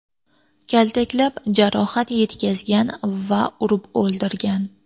Kaltaklab, jarohat yetkazgan va urib o‘ldirgan.